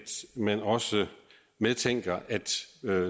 man også medtænker at